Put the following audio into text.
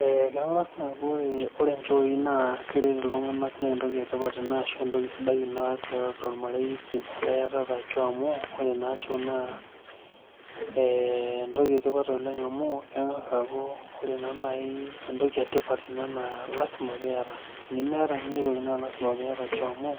Eeh keng'as naa aaku ore inchooi naa keret iltung'anak naa entoki etipat ina tiatua ormarei metaa iyatata choo amu ore naa choo naa entoki etipat oleng amu keng'as aaaku ore naa naaji entoki etipat naa lazima peiyata tenimiata ninye aitoki naa lazima piata choo amu